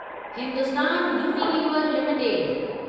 Hindustan Unilever limited